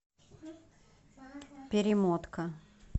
перемотка